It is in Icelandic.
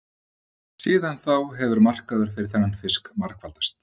Síðan þá hefur markaður fyrir þennan fisk margfaldast.